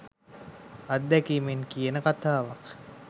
අත්දැකීමෙන් කියන කතාවක්